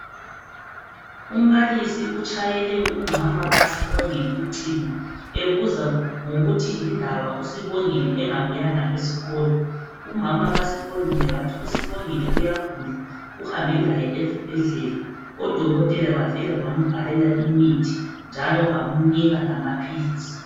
Umbalisi utshayele umama kaSibongile ucingo, ebuza ngokuthi yindaba uSibongile engabuyanga esikolo. Umama kaSibongile wathi uSibongile uyagula uhambe laye esibhedlela odokotela bafika bambhalela imithi njalo bamnika lamaphilisi.